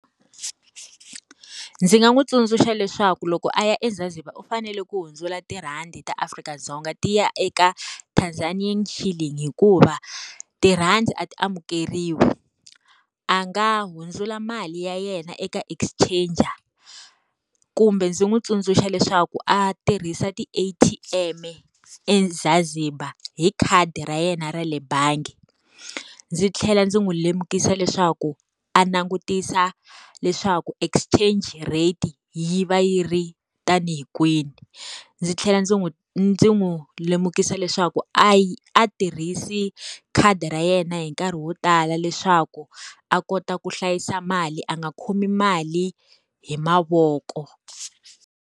Ndzi nga n'wi tsundzuxa leswaku loko a ya eZanzibar u fanele ku hundzula tirhandi ta Afrika-Dzonga ti ya eka Tanzanian shilling hikuva, tirhandi a ti amukeriwi. A nga hundzula mali ya yena eka exchanger. Kumbe ndzi n'wi tsundzuxa leswaku a tirhisa ti-A_T_M eZanzibar hi khadi ra yena ra le bangi. Ndzi tlhela ndzi n'wi lemukisa leswaku, a langutisa leswaku exchange rate yi va yi ri ta ni hi kwini. Ndzi tlhela ndzi n'wi ndzi n'wi lemukisa leswaku a a tirhisi khadi ra yena hi nkarhi wo tala leswaku, a kota ku hlayisa mali a nga khomi mali hi mavoko.